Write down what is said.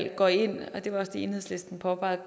går ind og det var også det enhedslisten påpegede